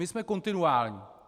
My jsme kontinuální.